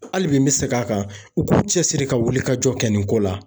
Hali bi n bɛ segin a kan u k'u cɛsiri ka wulikajɔ kɛ nin ko la